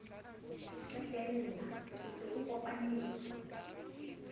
qetella o se o kopanetse